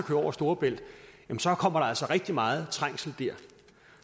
over storebælt så kommer der altså rigtig meget trængsel der